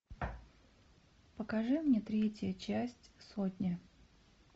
покажи мне третья часть сотня